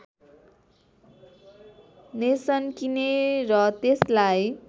nation किने र त्यसलाई